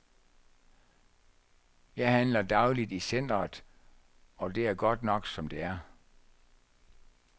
Jeg handler dagligt i centeret, og det er godt nok, som det er.